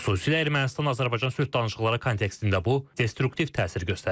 Xüsusilə Ermənistan-Azərbaycan sülh danışıqları kontekstində bu destruktiv təsir göstərir.